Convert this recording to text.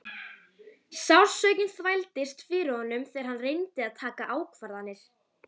Sársaukinn þvældist fyrir honum þegar hann reyndi að taka ákvarðanir.